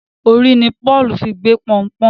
Orí ní Paul fí gbé Pọnpọ́n